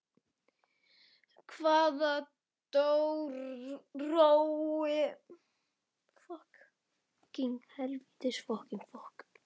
Hvaða órói er í þér, sonur? spurði pabbi hans.